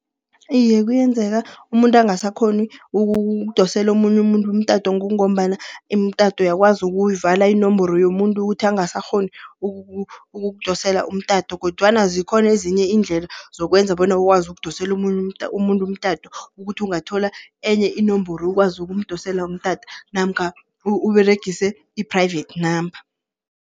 Iye kuyenzeka umuntu angasakghoni ukudosela omunye umuntu umtato, kungombana imitato uyakwazi ukuyivala inomboro yomuntu ukuthi angasakghoni ukukudosela umtato. Kodwana zikhona ezinye iindlela zokwenza bona ukwazi ukudosela umuntu umtato. Ukuthi ungathola enye inomboro ukwazi ukumdosele umtato namkha Uberegise i-private number.